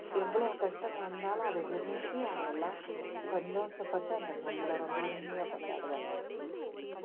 எவ்ளோ கஷ்டம் வந்தாலும் அதை விரும்பி அவங்களெல்லாம் சந்தோஷப்பட்டு அந்த பொங்கலை ரொம்ப இனிமையா கொண்டாடுவாங்க